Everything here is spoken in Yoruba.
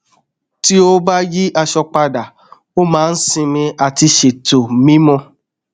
tí ó bá yí aṣọ padà ó máa n sinmi àti ṣètò mímu